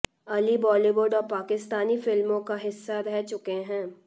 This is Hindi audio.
अली बॉलीवुड और पाकिस्तानी फिल्मों का हिस्सा रह चुके हैं